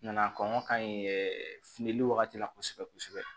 Nana kɔngɔ ka ɲi ɛ fili wagati la kosɛbɛ kosɛbɛ